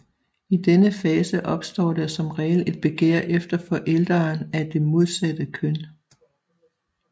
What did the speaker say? I denne fase opstår der som regel et begær efter forælderen af det modsatte køn